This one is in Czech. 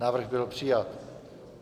Návrh byl přijat.